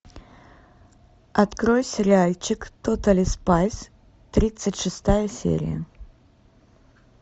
открой сериальчик тотали спайс тридцать шестая серия